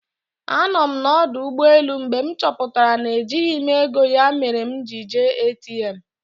Anọ m na ọdụ ụgbọelụ mgbe m chọpụtara na ejighị m ego ya mere m ji jee ATM